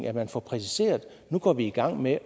at man får præciseret at nu går vi i gang med